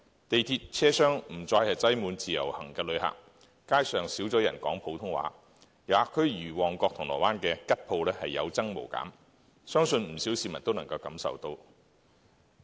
地鐵車廂不再擠滿自由行旅客，街上少了人說普通話，遊客區如旺角、銅鑼灣的吉鋪有增無減，相信不少市民都感受得到。